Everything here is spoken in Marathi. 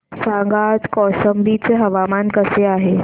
सांगा आज कौशंबी चे हवामान कसे आहे